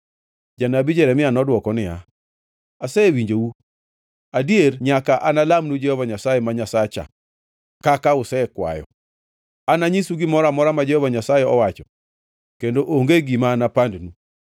Janabi Jeremia nodwoko niya, “Asewinjou. Adier nyaka analamnu Jehova Nyasaye ma Nyasacha kaka usekwayo; ananyisu gimoro amora ma Jehova Nyasaye owacho kendo onge gima anapandnu.”